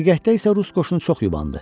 Həqiqətdə isə rus qoşunu çox yubandı.